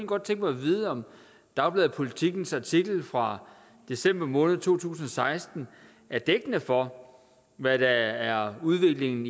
godt tænke mig at vide om dagbladet politikens artikel fra december måned to tusind og seksten er dækkende for hvad der er udviklingen